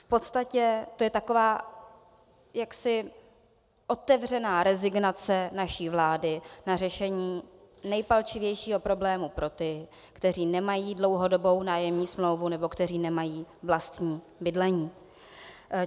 V podstatě je to taková jaksi otevřená rezignace naší vlády na řešení nejpalčivějšího problému pro ty, kteří nemají dlouhodobou nájemní smlouvu nebo kteří nemají vlastní bydlení.